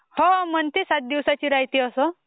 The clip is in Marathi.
हो म्हणते सात दिवसाची रायते .